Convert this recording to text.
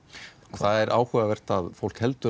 það er áhugavert að fólk heldur